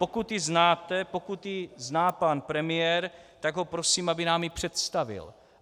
Pokud ji znáte, pokud ji zná pan premiér, tak ho prosím, aby nám ji představil.